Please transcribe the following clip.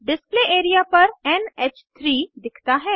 display area पर NH three दिखता है